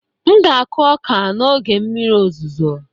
M ga-akụ ọka n'oge mmiri ozuzo